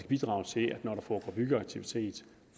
bidrage til at når der foregår byggeaktivitet